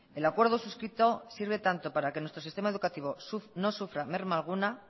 el acuerdo suscrito sirve tanto para que nuestro sistema educativo no sufra merma alguna